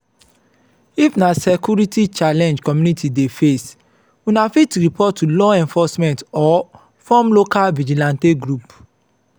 if na security challenge community dey face una fit report to law enforcement or form local vigilante group